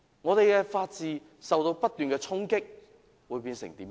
我們的法治不斷受衝擊，會變成怎樣？